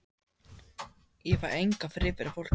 Ég fæ engan frið fyrir fólki.